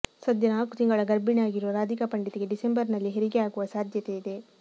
ಸದ್ಯ ನಾಲ್ಕು ತಿಂಗಳ ಗರ್ಭಿಣಿ ಆಗಿರುವ ರಾಧಿಕಾ ಪಂಡಿತ್ ಗೆ ಡಿಸೆಂಬರ್ ನಲ್ಲಿ ಹೆರಿಗೆ ಆಗುವ ಸಾಧ್ಯತೆ ಇದೆ